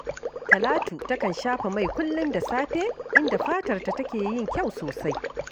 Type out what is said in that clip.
Talatu takan shafa mai kullum da safe, inda fatarta take yin kyau sosai